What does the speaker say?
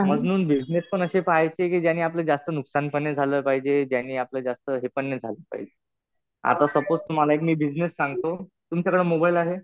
म्हणून बिजनेस पण असे पाहायचे कि ज्याने आपलं जास्त नुकसान पण नाही झालं पाहिजे. ज्याने आपलं जास्त हे पण नाही झालं पाहिजे. आता सपोज तुम्हाला एक मी बिजनेस सांगतो. तुमच्याकडं मोबाईल आहे?